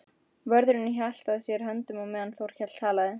Vörðurinn hélt að sér höndum á meðan Þórkell talaði.